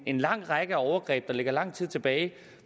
en lang række overgreb der ligger lang tid tilbage